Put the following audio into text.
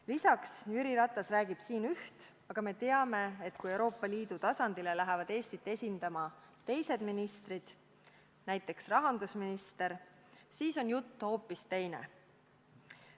Lisaks räägib Jüri Ratas siin üht, aga me teame, et kui Euroopa Liidu tasandil lähevad Eestit esindama teised ministrid, näiteks rahandusminister, siis on jutt hoopis teine.